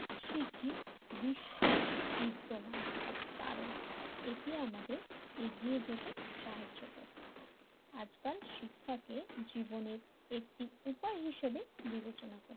শিখি বিশ্বের বিদ্যামন কারণ এটি আমাদের এগিয়ে যেতে সাহায্য করে, আজকাল শিক্ষকের জীবনের একটি উপায় হিসেবে বিবেচনা করা,